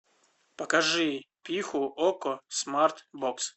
покажи пиху окко смарт бокс